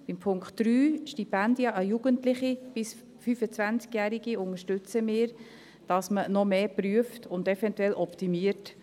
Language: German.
Beim Punkt 3, Stipendien an Jugendliche bis 25 Jahre, unterstützen wir, dass man noch mehr prüft und eventuell optimiert.